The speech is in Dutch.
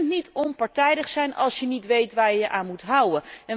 Je kunt niet onpartijdig zijn, als je niet weet waar je je aan moet houden.